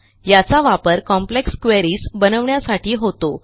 याचा वापर complex queries बनवण्यासाठी होतो